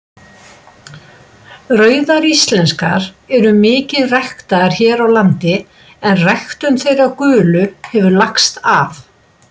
Rauðar íslenskar eru mikið ræktaðar hér á landi en ræktun þeirra gulu hefur lagst af.